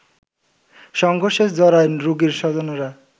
সংঘর্ষে জড়ায় রোগীর স্বজনরা